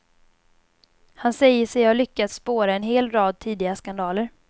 Han säger sig ha lyckats spåra en hel rad tidiga skandaler.